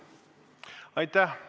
Aitäh!